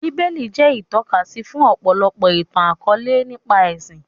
Bíbélì jẹ́ ìtọ́kasí fún ọ̀pọ̀lọpọ̀ ìtàn akọ̀ọ̀lẹ nípa ẹṣin